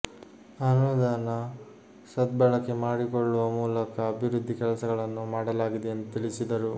ಅನುದಾನ ಸದ್ಬಳಕೆ ಮಾಡಿ ಕೊಳ್ಳುವ ಮೂಲಕ ಅಭಿವೃದ್ಧಿ ಕೆಲಸ ಗಳನ್ನು ಮಾಡಲಾಗಿದೆ ಎಂದು ತಿಳಿಸಿದರು